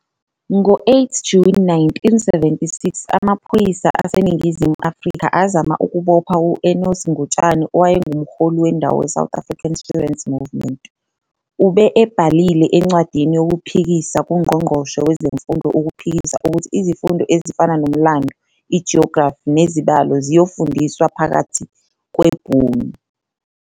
Ngo-8 Juni 1976 amaphoyisa aseNingizimu Afrika azama ukubopha u-Enos Ngutshane owayengumholi wendawo weSouth African Students Movement. Ube ebhalile incwadi yokuphikisa kuNgqongqoshe Wezemfundo ukuphikisa ukuthi izifundo ezifana nomlando, i-geography nezibalo ziyofundiswa phakathi kweBhunu.